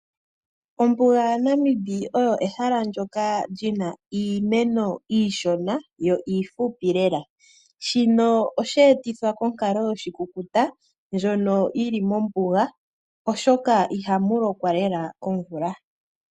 Ombuga yaNamib oyo ehala ndjika lina iimeno iishona, yo iifupi lela. Shino oshe etithwa konkalo yoshikukuta ndjono yili mombuga, oshoka ihamu lokwa lela komvula.